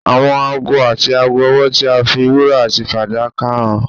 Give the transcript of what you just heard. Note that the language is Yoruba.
Àwọn aago àti aago ọwọ tí a fi wúrà àti fàdákà hàn